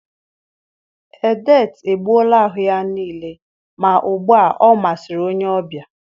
Edet egbuola ahụ ya niile, ma ugbu a ọ masịrị onye ọbịa